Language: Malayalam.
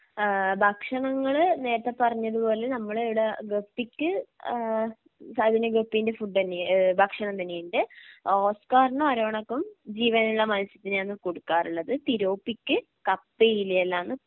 ഏഹ് ഭക്ഷണങ്ങള് നേരത്തെ പറഞ്ഞതുപോലെ നമ്മള് ഇവിടെ ഗപ്പിക്ക് ഏഹ് അതിന് ഗപ്പിൻ്റെ ഫുഡ് തന്നെ ഏഹ് ഭക്ഷണം തന്നെയുണ്ട് ഓസ്ക്കാറിനും അരോണക്കും ജീവനുള്ള മത്സ്യത്തിനെയാന്ന് കൊടുക്കാറുള്ളത് തിലോപ്പിക്ക് കപ്പയില എല്ലാമാന്ന്